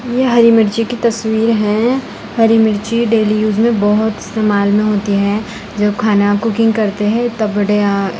यह हरी मिर्ची की तस्वीर है। हरी मिर्ची डेली यूज में बहुत इस्तेमाल में होती है। जो खाना कुकिंग करते हैं तब बढ़िया --